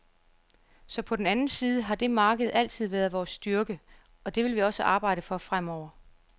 Så på den anden side har det marked altid været vores styrke, og det vil vi også arbejde for fremover.